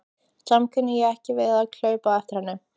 Samt kunni ég ekki við að hlaupa á eftir henni.